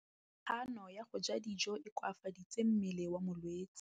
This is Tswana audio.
Kganô ya go ja dijo e koafaditse mmele wa molwetse.